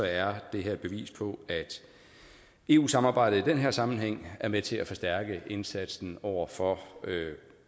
er det her et bevis på at eu samarbejdet i den her sammenhæng er med til at forstærke indsatsen over for